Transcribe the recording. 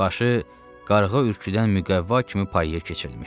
Başı qarğa ürküdən müqəvva kimi payaya keçirilmişdi.